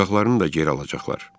Uşaqlarını da geri alacaqlar.